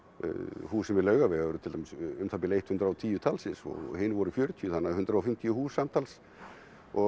húsin við Laugaveg eru til dæmis um það bil hundrað og tíu talsins og hin voru fjörutíu þannig að hundrað og fimmtíu hús samtals og